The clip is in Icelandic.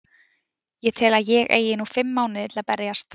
Ég tel að ég eigi nú fimm mánuði til að berjast.